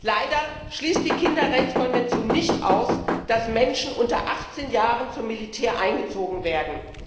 Leider schließt die Kinderrechtskonvention nicht aus, dass Menschen unter 18 Jahren zum Militär eingezogen werden.